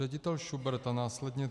Ředitel Šubrt a následně